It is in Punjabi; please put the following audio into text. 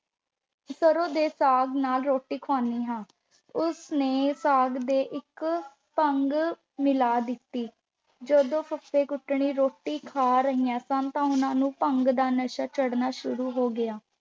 ਸਰੋਂ ਦੇ ਸਾਗ ਨਾਲ ਰੋਟੀ ਖੁਆਦੀ ਹਾਂ। ਉਸ ਨੇ ਸਾਗ ਦੇ ਵਿੱਚ ਭੰਗ ਮਿਲਾ ਦਿੱਤੀ। ਜਦੋਂ ਫੱਫੇ-ਕੱਟਣੀ ਰੋਟੀ ਖਾ ਰਹੀਆਂ ਸਨ ਤਾਂ ਉਹਨਾਂ ਨੂੰ ਭੰਗ ਦਾ ਨਸ਼ਾ ਚੜ੍ਹਨਾ ਸ਼ੁਰੂ ਹੋ ਗਿਆ।